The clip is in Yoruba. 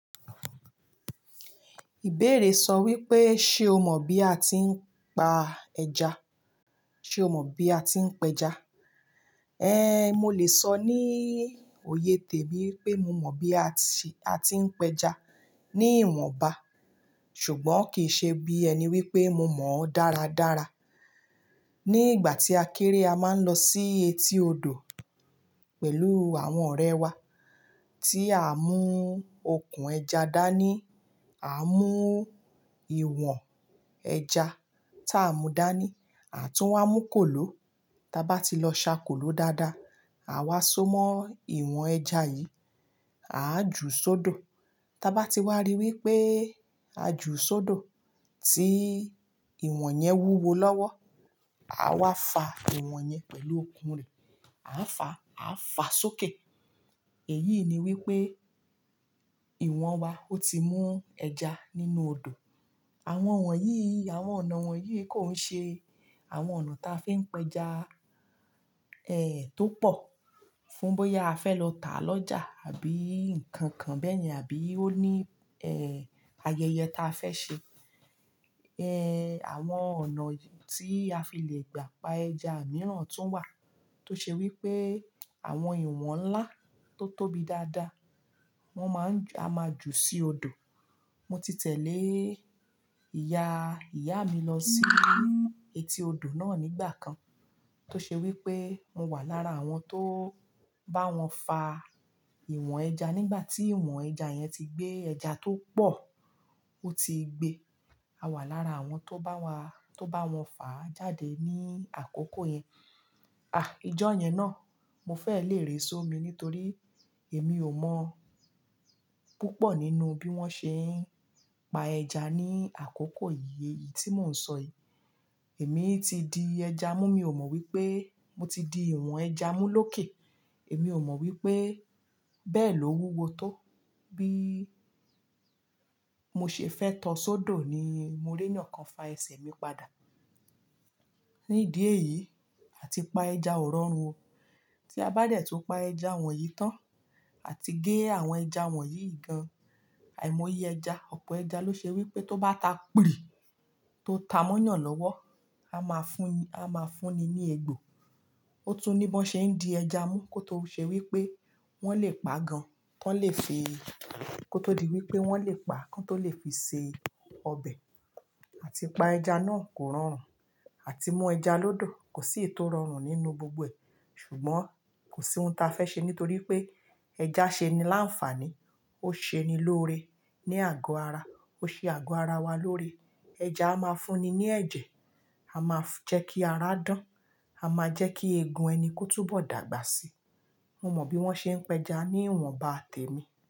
Ìbéèrè sọ wípé, ṣé o mọ̀ bí a ti ń pa ẹja? Ṣé o mọ̀ bí a ti ń pẹja? Eh, mo lè sọ ní oyè tèmi pé mo mọ̀ bí a ti, a ti ń pẹja ní ìwọ̀nba, ṣùgbọ́n kì í ṣe bí ẹni wípé mo mọ̀ ọ́n dára dára. Ni ìgbà tí a kéré a máa ń lọ sí etí odò pẹ̀lú àwọn ọ̀rẹ́ wa tí à mú okùn ẹja dání, à mú ìwọ̀n ẹja tá a mú dání àtún wá mú kòló. Taba ti lọ ṣà kòló dáadáa, àwa so mọ́ ìwọ̀n ẹja yìí, à a ju sọ́dọ̀. Taba ti wa rí wípé à ju sọ́dọ̀ tí ìwọ̀n yẹn wúwo lọ́wọ́, à wa fa ìwọ̀n yẹn pẹ̀lú okùn rẹ̀. A fa, a fa a sókè. Èyí ni wípé ìwọ̀n wa ó ti mú ẹja nínú odò. Àwọn wọ̀nyí, àwọn ọ̀nà wọ̀nyí kò ń ṣe àwọn ọ̀nà ta fi ń pẹja, eh, tó pọ̀, fún bóyá a fẹ́ lọ tà lọ́jà àbí nǹkan kan bẹ́ẹ̀ni, àbí ó ní, eh, ayẹyẹ ta fẹ́ ṣe. Eh, àwọn ọ̀nà tí a fi le gbà pa ẹja mìíràn tún wà tó ṣe wípé àwọn ìwọ̀n ńlá tó tóbi dáadáa, wọ́n máa ń-- a máa jù sí odò. Mo ti tẹ̀lé ìyá, ìyá mi lọ sí etí odò náà nígbà kan tó ṣe wípé mo wà lára àwọn tó bá wọn fa ìwọ̀n ẹja nígbà tí ìwọ̀n ẹja yẹn ti gbé ẹja tó pọ̀ ó ti gbe. Àwa wà lára àwọn tó báwọn fà á jáde ní àkókò yẹn. Á ìjọ yẹn náà mo fẹ́ lè ré skmi nítorí èmi ò mọ púpọ̀ nínú bí wọ́n ṣe ń pa ẹja ní àkókò yìí, èyí tí mò ń sọ yìí. Èmi ti di ẹja mú mio mọ wípé mòti di ìwọ̀n ẹja mú lókè. Èmi ò mọ̀ wípé bẹ́ẹ̀ ló wúwo tó. Bí mo ṣe fẹ́ tọ ọ sọ́dọ̀ ni mo rí eeyan kan fa ẹsẹ̀ mi padà. Ni ídi èyí àti pa ẹja ò rọrùn o. Tí a bá dẹ̀ tún pa ẹja wọ̀nyí tán àti gé àwọn ẹja wọ̀nyí gan, àìmọye ẹja, ọ̀pọ̀ ẹja ló ṣe wípé tó bá ta pìrì tó ta mọ́ yàn lọ́wọ́, a máa fún ni, a máa fún ni ní egbò. Ó tún ní biwọn ṣe ń di ẹja mú kó tó ṣe wípé wọ́n lè pa gan, tan lè fi-- kó tó di wípé wọ́n lè pa kan tó lè fi ṣe ọbẹ̀. Àti pa ẹja náà kò rọrùn, àti mú ẹja lọ́dọ̀ kò sì èyí tó rọrùn nínú gbogbo ẹ̀. Ṣùgbọ́n kò sí ohun ta fẹ́ ṣe nítorí pé ẹja ṣe ni láǹfààní, ó ṣe ni lóore ní àgọ́ ara, ó ṣe àgọ́ ara wa lóore. Ẹja a máa ń fún ni ní ẹ̀jẹ̀, a máa ń jẹ́ kí ara dán, a máa ń jẹ́ kí egun ẹni kó túbọ̀ dàgbà sí. Mo mọ bí wọ́n ṣe ń pẹja ní ìwọ̀nba tèmi.